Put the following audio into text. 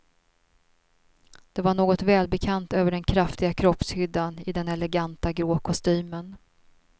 Det var något välbekant över den kraftiga kroppshyddan i den eleganta grå kostymen.